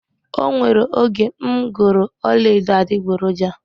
O nwere oge m goro ọla edo adiboroja